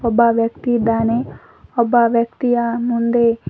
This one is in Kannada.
ಒಬ್ಬ ವ್ಯಕ್ತಿ ಇದ್ದಾನೆ ಒಬ್ಬ ವ್ಯಕ್ತಿಯ ಮುಂದೆ--